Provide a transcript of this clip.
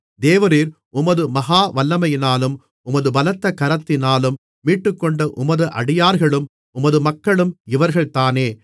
தேவரீர் உமது மகா வல்லமையினாலும் உமது பலத்த கரத்தினாலும் மீட்டுக்கொண்ட உமது அடியார்களும் உமது மக்களும் இவர்கள்தானே